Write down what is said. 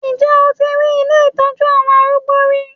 Ǹjẹ́ o ti rí ilé ìtọ́jú àwọn arúgbó rí?